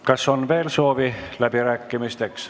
Kas on veel soovi läbi rääkida?